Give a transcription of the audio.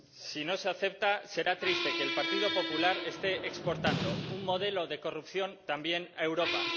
si no se acepta, será triste que el Partido Popular esté exportando un modelo de corrupción también a Europa.